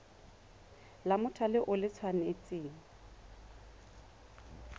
la mothale o le tshwanetse